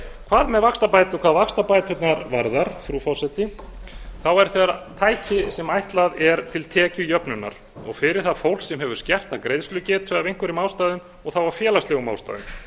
hvað með vaxtabætur hvað vaxtabæturnar varðar frú forseti eru þær tæki sem ætlað er til tekjujöfnunar fyrir það fólk sem hefur skerta greiðslugetu af einhverjum ástæðum og þá af félagslegum ástæðum